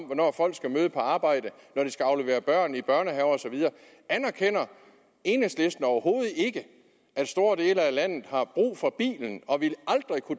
hvornår folk skal møde på arbejde aflevere børn i børnehaver og så videre anerkender enhedslisten overhovedet ikke at store dele af landet har brug for bilen og